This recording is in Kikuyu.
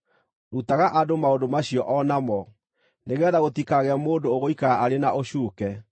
Rutaga andũ maũndũ macio o namo, nĩgeetha gũtikagĩe mũndũ ũgũikara arĩ na ũcuuke.